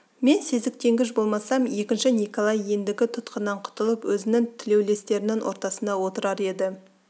мен сезіктенгіш болмасам екінші николай ендігі тұтқыннан құтылып өзінің тілеулестерінің ортасында отырар еді